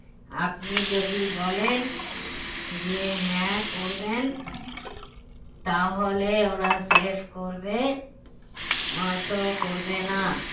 আপনি যদি বলেন যে হ্যাঁ করবেন তাহলে ওরা save করবে নয়তো করবে না